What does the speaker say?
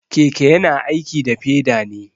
Keke yana aiki da peda ne.